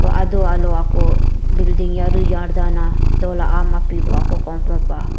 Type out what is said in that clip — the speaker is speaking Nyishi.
hoh adoh aloh akuh building yari yadda nah dolah aoum apih bvh kungpvh pah.